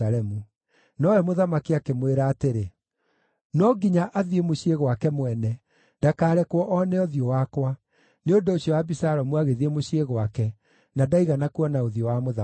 Nowe mũthamaki akĩmwĩra atĩrĩ, “No nginya athiĩ mũciĩ gwake mwene; ndakarekwo oone ũthiũ wakwa.” Nĩ ũndũ ũcio Abisalomu agĩthiĩ mũciĩ gwake na ndaigana kuona ũthiũ wa mũthamaki.